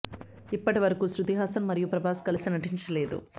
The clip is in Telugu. ఇప్పటి వరకూ శృతి హాసన్ మరియు ప్రభాస్ కలిసి నటించలేదు